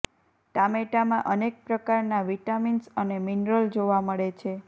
ટામેટામાં અનેક પ્રકારના વિટામિન્સ અને મિનરલ જોવા મળે છે